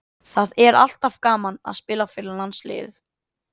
Það er alltaf gaman að spila fyrir landsliðið.